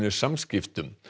Samskiptum